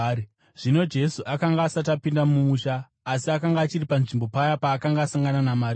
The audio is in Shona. Zvino Jesu akanga asati apinda mumusha, asi akanga achiri panzvimbo paya paakanga asangana naMarita.